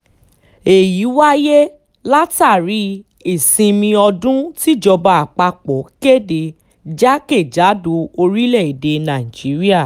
èyí wáyé látàrí ìsinmi ọdún tíjọba àpapọ̀ kéde jákè-kàdò orílẹ̀-èdè nàíjíríà